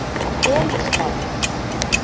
Elísberg